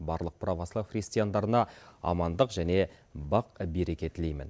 барлық православ христиандарына амандық және бақ береке тілеймін